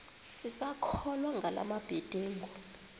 sisakholwa ngala mabedengu